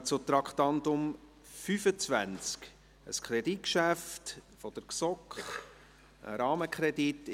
Wir kommen zum Traktandum 25, ein Kreditgeschäft der GSoK, ein Rahmenkredit.